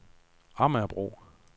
Amagerbro